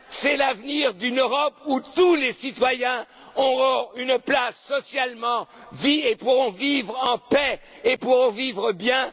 social. C'est l'avenir d'une Europe où tous les citoyens auront une place socialement, pourront vivre en paix et pourront vivre